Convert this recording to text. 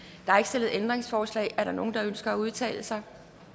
der er ikke stillet ændringsforslag er der nogen der ønsker at udtale sig